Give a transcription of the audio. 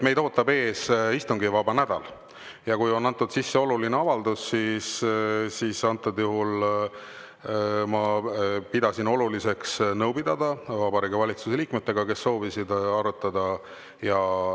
Meid ootab ees istungivaba nädal ja kuna on antud sisse oluline avaldus, siis antud juhul ma pidasin oluliseks nõu pidada Vabariigi Valitsuse liikmetega, kes soovisid asja arutada.